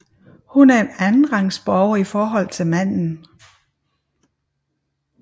Hun er en andenrangsborger i forhold til manden